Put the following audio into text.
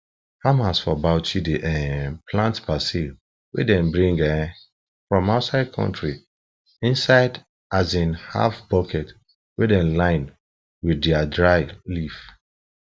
farmers for bauchi dey um plant basil wey dem bring um from outside country inside um half bucket wey dem line wth dry leaf